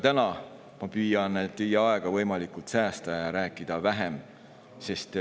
Minagi püüan teie aega võimalikult säästa ja rääkida vähem.